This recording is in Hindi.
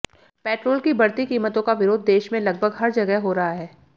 पेट्रोल की बढ़ती कीमतों का विरोध देश में लगभग हर जगह हो रहा है